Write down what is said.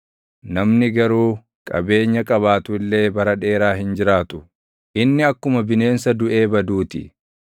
Namni garuu qabeenya qabaatu illee bara dheeraa hin jiraatu; inni akkuma bineensa duʼee baduu ti.